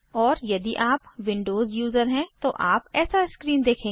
और यदि आप विंडोज यूज़र हैं तो आप ऐसा स्क्रीन देखेंगे